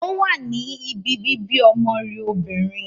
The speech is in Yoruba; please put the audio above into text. O wá ní ìbí bíbí ọmọ rẹ̀ obìnrin